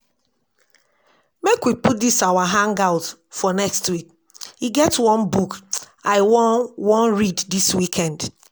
Make we put dis our hang out for next week, e get one book I wan wan read dis weekend